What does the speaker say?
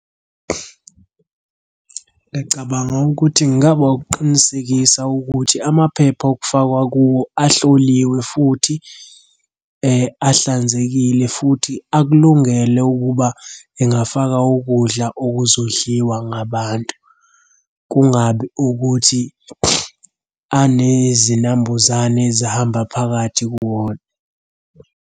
Ngiyacabanga ukuthi kungaba ukuqinisekisa ukuthi amaphepha okufakwa kuwo ahloliwe futhi ahlanzekile futhi akulungele ukuba engafaka ukudla okuzodliwa ngabantu. Kungabi ukuthi anezinambuzane ezihamba phakathi kuwona.